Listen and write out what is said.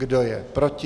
Kdo je proti?